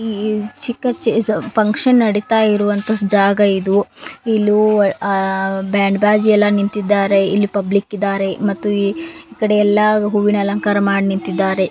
ಈ ಚಿಕ್ಕ ಫಕ್ಷನ್ ನಡಿತಾ ಇರುವಂತ ಜಾಗ ಇದು ಇಲಿ ಆ ಬ್ಯಾಂಡ್ ಬಾಜಾ ಎಲ್ಲಾ ನಿಂತಿದಾವ ಇಲ್ಲಿ ಪಬ್ಲಿಕ್ ಇದಾರೆ ಮಾತು ಈಕಡೆ ಎಲ್ಲಾ ಹೂವಿನ ಅಲಂಕಾರ ಮಾಡಿದರೆ.